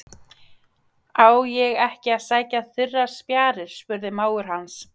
Á ég ekki að sækja þurrar spjarir? spurði mágur hans.